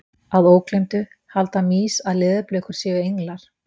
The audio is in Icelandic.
Að ógleymdu: Halda mýs að leðurblökur séu englar?